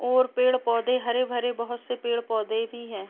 और पेड़-पौधे हरे-भरे बोहोत से पेड़ पौधे भी हैं।